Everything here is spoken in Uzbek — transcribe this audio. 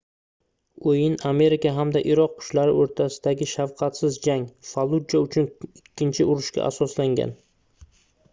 oʻyin amerika hamda iroq kuchlar oʻrtasidagi shafqatsiz jang falluja uchun ikkinchi urushga asoslangan